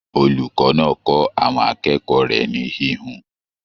Olùkọ náà kọ àwọn akẹ́kọ̀ọ́ rẹ ní híhun.